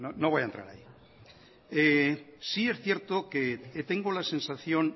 no voy a entrar ahí sí es cierto que tengo la sensación